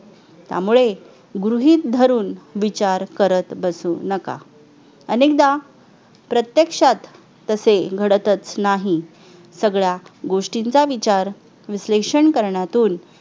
त्यामुळे गृहीत धरून विचार करत बसू नका अनेकदा प्रत्यक्षात तसे घडतच नाही सगळ्या गोष्टींचा विचार विश्लेषण करण्यातून